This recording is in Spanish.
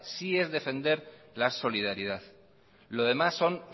sí es defender la solidaridad lo demás son